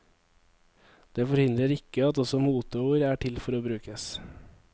Det forhindrer ikke at også moteord er til for å brukes.